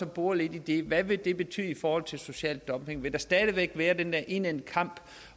bore lidt i det hvad vil det betyde i forhold til social dumping vil der stadig væk være den der indædte kamp